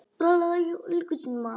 Beið góða stund.